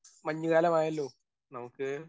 Speaker 1 മഞ്ഞുകാലമായല്ലോ? നമുക്ക്